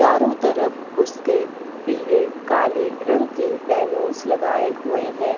चारों तरफ उसके पीले काले रंग की बैलूनस लगाए हुए है।